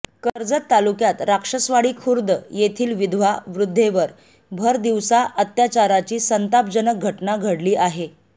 कर्जत तालुक्यात राक्षसवाडी खुर्द येथील विधवा वृध्देवर भर दिवसा अत्याचाराची संतापजनक घटना घडली आहे